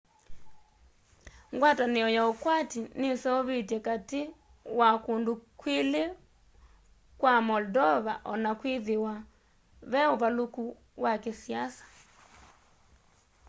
ngwatanĩo ya ũkwati nĩseũvĩtwe katĩ wa kũndũ kwĩlĩ kwa moldova ona kwĩthĩwa ve ũvalũku wa kĩsiasa